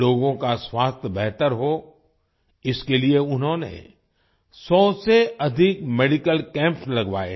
लोगों का स्वास्थ्य बेहतर हो इसके लिए उन्होंने 100 से अधिक मेडिकल कैम्प्स लगवाए हैं